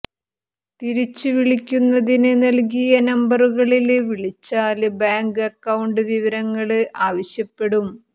തിരിച്ചു വിളിക്കുന്നതിന് നല്കിയ നമ്പറുകളില് വിളിച്ചാല് ബാങ്ക് അക്കൌണ്ട് വിവരങ്ങള് ആവശ്യപ്പെടും